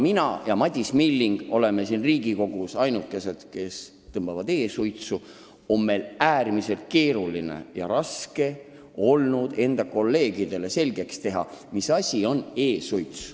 Mina ja Madis Milling oleme siin Riigikogus ainukesed, kes tõmbavad e-suitsu, ja meil on olnud äärmiselt raske kolleegidele selgeks teha, mis asi on e-suits.